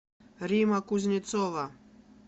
римма кузнецова